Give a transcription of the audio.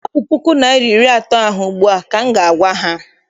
Hapụ puku naịra na iri atọ ahụ ugbu a! ka m ga- agwa ha.